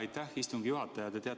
Aitäh, istungi juhataja!